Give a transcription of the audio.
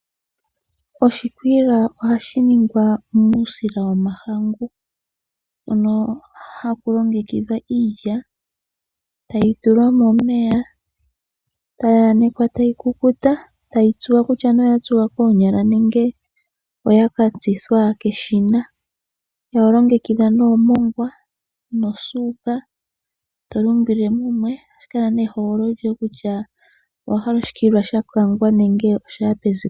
Oshikwiila ohashi ningwa muusila womahangu mono haku longekidhwa iilya, tayi tulwa momeya ,tayi anekqa tayi kukuta, tayi tsuwa kutya nee oyatsuwa koonyala nenge oya katsithwa keshina . Oho longekidha nee omongwa nosuuka eto lungile mumwe. Ohashi kala nee ehogololo lyoye kutya owahala oshikwiila shakangwa nenge oshaya peziko.